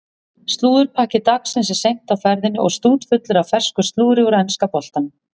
Slúðurpakki dagsins er seint á ferðinni og stútfullur af fersku slúðri úr enska boltanum.